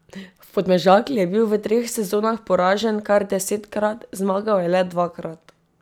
V Podmežakli je bil v treh sezonah poražen kar desetkrat, zmagal je le dvakrat.